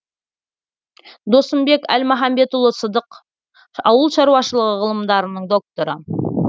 досымбек әлмаханбетұлы сыдық ауыл шаруашылығы ғылымдарының докторы